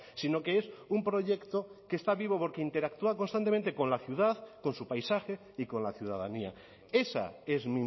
sino que es un proyecto que está vivo porque interactúa constantemente con la ciudad con su paisaje y con la ciudadanía esa es